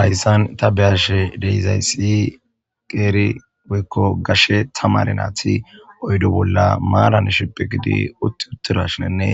Hyssan ta be'ashe dee'izayssi qeeri weekko gashe tamare naati oyde bolla maaran sheppe gidi utti uttirashinenne